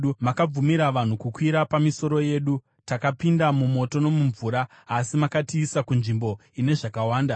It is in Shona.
Makabvumira vanhu kukwira pamisoro yedu; takapinda mumoto nomumvura, asi makatiisa kunzvimbo ine zvakawanda.